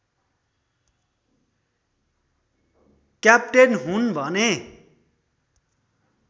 captain हुन् भने